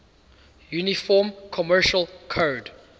uniform commercial code